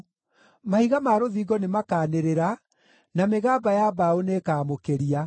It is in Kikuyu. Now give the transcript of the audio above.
Mahiga ma rũthingo nĩmakanĩrĩra, na mĩgamba ya mbaũ nĩĩkamũkĩria.